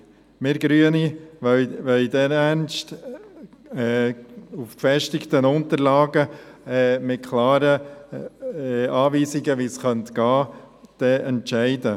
Wir Grüne wollen dereinst auf gefestigten Unterlagen mit klaren Anweisungen, wie man vorgehen könnte, entscheiden.